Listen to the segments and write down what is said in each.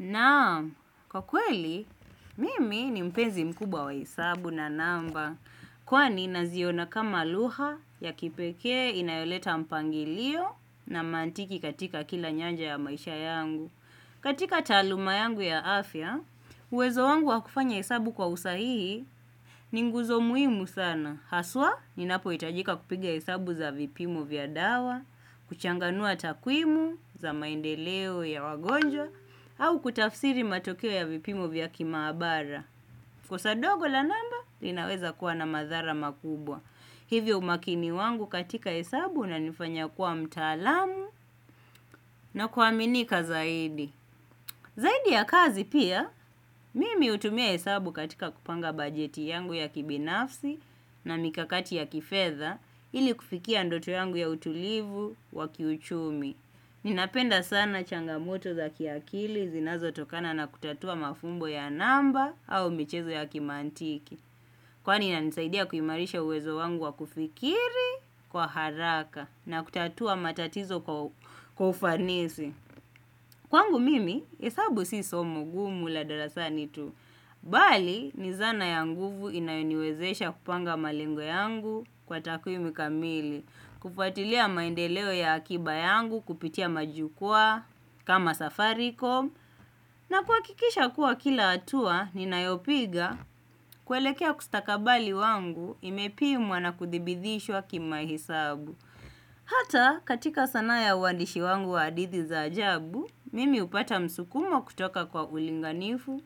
Naam, kwa kweli, mimi ni mpenzi mkubwa wa hesabu na namba. Kwani naziona kama luha ya kipekee inayoleta mpangilio na mantiki katika kila nyanja ya maisha yangu. Katika taaluma yangu ya afya, uwezo wangu wa kufanya hesabu kwa usahihi ni nguzo muhimu sana. Haswa, ninapoitajika kupiga hesabu za vipimo vya dawa, kuchanganua takwimu za maendeleo ya wagonjwa, au kutafsiri matokeo ya vipimo vya kimaabara. Kosa dogo la namba, linaweza kuwa na madhara makubwa. Hivyo umakini wangu katika hesabu unanifanya kuwa mtaalamu na kuaminika zaidi. Zaidi ya kazi pia mimi hutumia hesabu katika kupanga bajeti yangu ya kibinafsi na mikakati ya kifedha ili kufikia ndoto yangu ya utulivu wa kiuchumi ninapenda sana changamoto za kiakili zinazotakana na kutatua mafumbo ya namba au michezo ya kimantiki kwani inanisadia kuimarisha uwezo wangu wa kufikiri kwa haraka na kutatua matatizo kwa ufanisi. Kwangu mimi, hesabu si somo gumu la darasani tu. Bali, ni zana ya nguvu inayoniwezesha kupanga malengo yangu kwa takwimi kamili. Kufuatilia maendeleo ya akiba yangu kupitia majukwaa, kama safarikom. Na kuhakikisha kuwa kila hatua, ninayopiga kwelekea kustakabali wangu imepimwa na kuthibidhishwa kimahesabu. Hata katika sanaa ya uwandishi wangu wa hadithi za ajabu, mimi upata msukumo kutoka kwa ulinganifu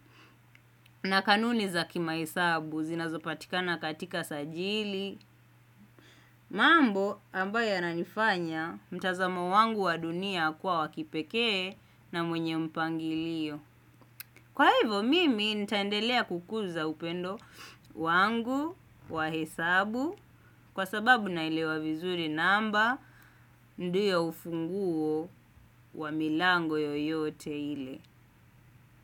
na kanuni za kimahesabu zinazopatikana katika sajili. Mambo ambayo yananifanya mtazamo wangu wa dunia kuwa wa kipekee na mwenye mpangilio. Kwa ivo mimi nitaendelea kukuza upendo wangu wa hesabu kwa sababu naelewa vizuri namba ndio ufunguo wa milango yoyote ile.